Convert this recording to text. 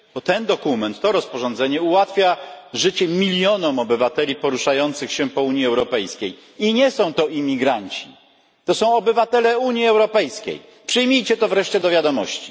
A ten dokument, to rozporządzenie ułatwia życie milionom obywateli poruszającym się po Unii Europejskiej i nie są to imigranci. To są obywatele Unii Europejskiej. Przyjmijcie to wreszcie do wiadomości!